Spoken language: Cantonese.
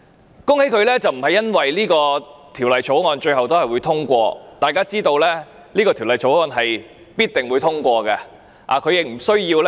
我恭喜他，並不是因為這項條例草案最後會獲得通過，大家也知道這項條例草案必定獲得通過。